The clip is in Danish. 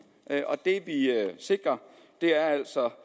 det vi sikrer er altså